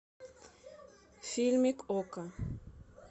фильмик окко